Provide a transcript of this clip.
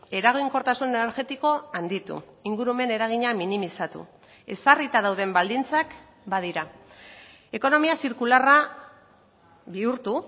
eraginkortasun energetikoa handitu ingurumen eragina minimizatu ezarrita dauden baldintzak badira ekonomia zirkularra bihurtu